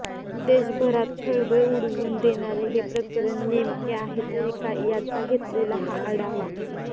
देशभरात खळबळ उडवून देणारे हे प्रकरण नेमके आहे तरी काय याचा घेतलेला हा आढावा